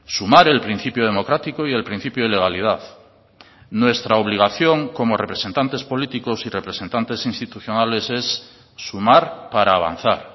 sumar el principio democrático y el principio de legalidad nuestra obligación como representantes políticos y representantes institucionales es sumar para avanzar